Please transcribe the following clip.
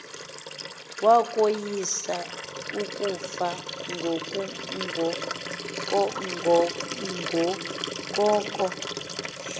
wakoyisa ukufa kungoko